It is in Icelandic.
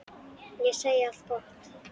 Ég segi allt gott.